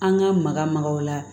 An ka maka makaw la